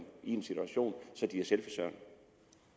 i en situation